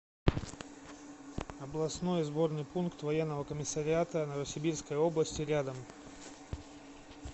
областной сборный пункт военного комиссариата новосибирской области рядом